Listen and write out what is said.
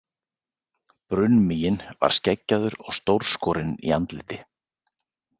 Brunnmiginn var skeggjaður og stórskorinn í andliti.